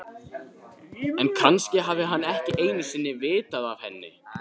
En kannski hafði hann ekki einu sinni vitað af henni.